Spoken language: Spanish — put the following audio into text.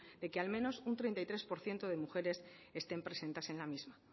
de que al menos un treinta y tres por ciento de mujeres estén presentes en la misma